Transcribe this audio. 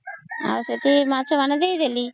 ସେଥିରେ ମାଛ ମାନେ ଦେଇଦେଲି